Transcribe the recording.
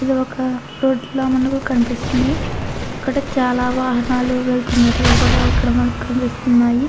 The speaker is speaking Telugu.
ఇది ఒక రోడ్డు లా మనకి కనిపిస్తుంది. ఇక్కడ చాలా వాహనాలు వెళ్తున్నట్లుగా కూడా ఇక్కడ మనకు కనిపిస్తున్నాయి.